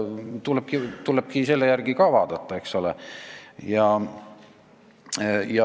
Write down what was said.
Tuleb seda ka vaadata, eks ole.